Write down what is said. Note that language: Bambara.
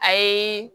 A ye